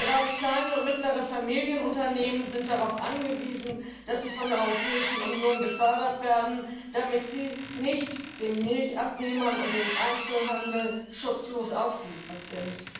Gerade kleine und mittlere Familienunternehmen sind darauf angewiesen, dass sie von der Europäischen Union gefördert werden und nicht den Milchabnehmern und dem Einzelhandel schutzlos ausgeliefert sind.